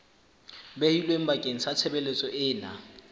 behilweng bakeng sa tshebeletso ena